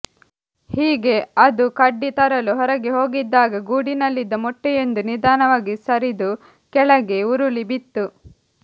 ಹೀಗೆ ಅದು ಕಡ್ಡಿ ತರಲು ಹೊರಗೆ ಹೋಗಿದ್ದಾಗ ಗೂಡಿನಲ್ಲಿದ್ದ ಮೊಟ್ಟೆಯೊಂದು ನಿಧಾನವಾಗಿ ಸರಿದು ಕೆಳಗೆ ಉರುಳಿ ಬಿತ್ತು